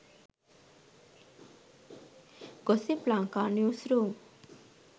gossip lanka news room